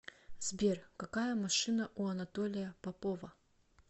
сбер какая машина у анатолия попова